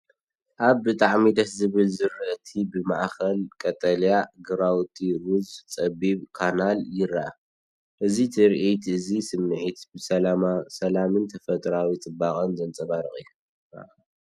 ኣብ ብጣዕሚ ደስ ዝብል ዝራእቲ ብማእከል ቀጠልያ ግራውቲ ሩዝ ጸቢብ ካናል ይርአ። እዚ ትርኢት እዚ ስምዒት ሰላምን ተፈጥሮኣዊ ጽባቐን ዘንጸባርቕ እዩ።